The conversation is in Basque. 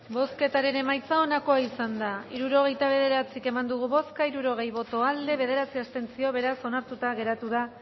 bozketaren emaitza onako izan da hirurogeita bederatzi eman dugu bozka hirurogei boto aldekoa bederatzi abstentzio beraz onartuta geratu da